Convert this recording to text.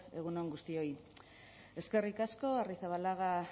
egun on guztioi eskerrik asko arrizabalaga